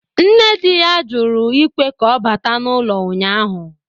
Nne di ya jụrụ ikwe ka ọ bata n’ụlọ ụnyahụ